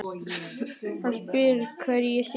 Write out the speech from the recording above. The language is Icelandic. Hann spyr hvar ég sé.